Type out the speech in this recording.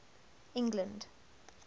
england